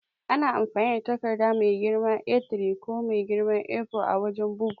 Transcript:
Ana amfani da takarda mai girman A3 ko mai girman A4 a wajan bugu.